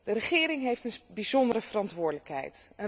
De regering heeft een bijzondere verantwoordelijkheid.